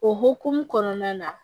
O hokumu kɔnɔna na